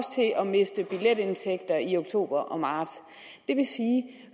til at miste billetindtægter i oktober og marts det vil sige